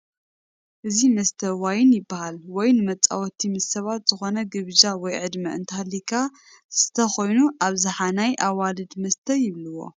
እዚ መስተ ዋይን ይበሃል ዋይን ንመፃወቲ ምስ ስባት ዝኮነ ግብዣ ወይ ዕድመ እንተሃልዩካ ዝሰተ ኮይኑ ኣብዝሓ ናይ አዋልድ መስተ ይብልዎ